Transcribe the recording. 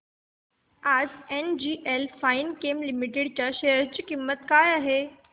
आज NGL Finechem Limited च्या share ची किंमत किती आहे